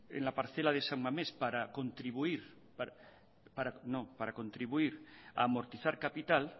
en la parcela de san mamés para contribuir no para contribuir a amortizar capital